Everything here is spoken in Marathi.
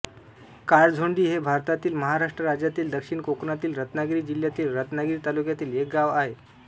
काळझोंडी हे भारतातील महाराष्ट्र राज्यातील दक्षिण कोकणातील रत्नागिरी जिल्ह्यातील रत्नागिरी तालुक्यातील एक गाव आहे